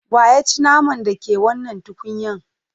Wa ya ci naman da ke cikin wannan tukunyan?